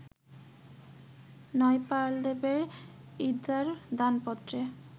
নয়পালদেবের ইর্দার দানপত্রে